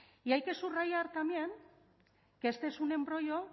y hay que subrayar también que este es un embrollo